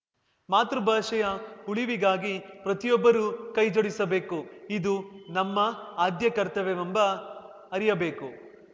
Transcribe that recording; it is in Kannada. ಮಾತೃಭಾಷೆಯ ಉಳಿವಿಗಾಗಿ ಪ್ರತಿಯೊಬ್ಬರೂ ಕೈಜೋಡಿಸಬೇಕು ಇದು ನಮ್ಮ ಆದ್ಯ ಕರ್ತವ್ಯವೆಂಬ ಅರಿಯಬೇಕು